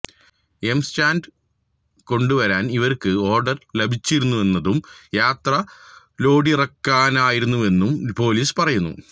M sand കൊണ്ടുവരാൻ ഇവർക്ക് order ലഭിച്ചിരുന്നുവെന്നതും യാത്ര ലോഡിറക്കാനായിരുന്നുവെന്നും പോലീസ് പറയുന്നു